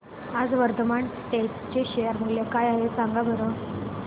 आज वर्धमान टेक्स्ट चे शेअर मूल्य काय आहे सांगा बरं